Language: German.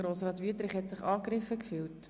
Grossrat Wüthrich hat sich angegriffen gefühlt.